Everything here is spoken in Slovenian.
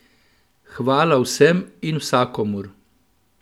Hvala vsem in vsakomur!